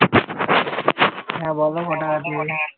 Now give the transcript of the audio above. হ্যাঁ বল কটাকা দেবে